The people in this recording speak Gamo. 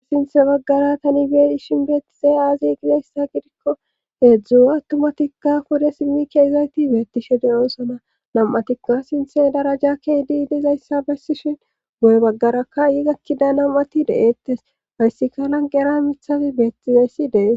sinthe baggara tani beei shin beettizey aazi ginayssa gidikko heedzdzua attumatikka pude simmi keezayti beettishe deyoosona nam7atikka sinthe darajakkey di dizayssa bessishin woy baggarakka yi gakkida nam7ati deeettes hayssika lan gera mithafi beettizayssi de'es